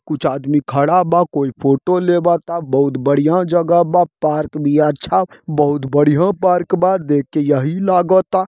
कुछ आदमी खड़ा बा कोई फोटो लेबत ता बहुत बढ़िया जगह बा पार्क भी अच्छा बहुत बढ़िया पार्क बा देख के यही लागत ता।